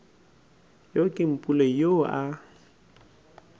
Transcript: yo ke mpule yoo a